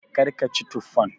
Kar ki ci tuffan!